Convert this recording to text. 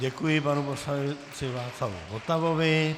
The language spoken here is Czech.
Děkuji panu poslanci Václavu Votavovi.